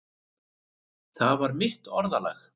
Það var mitt orðalag.